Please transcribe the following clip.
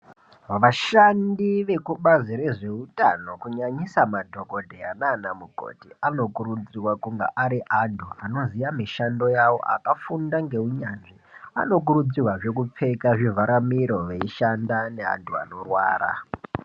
Vashandi vekubazi rezveutano kunyanyisa madhokodheya nana mukoti anokurudzirwa kunga ari anthu anoziya mishando yawo akafunda ngeunyanzvi anokurudzirwazve kupfeka zvivhara miro eishanda neanthu anorwara.